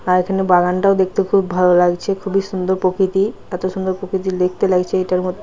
আর এখানে বাগানটাও দেখতে খুব ভালো লাগছে খুবই সুন্দর প্রকৃতি এতো সুন্দর প্রকৃতি দেখতে লাগছে এটার মধ--